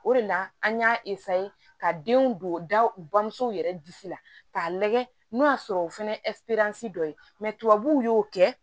O de la an y'a ka denw don da u bamusow yɛrɛ disi la k'a lajɛ n'o y'a sɔrɔ o fɛnɛ ye dɔ ye tubabuw y'o kɛ